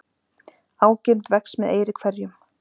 Ágirnd vex með eyri hverjum.